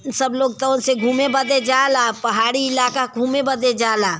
सब लोग से घूमे बदे जाला पहाडी इलाका घूमे बदे जाला।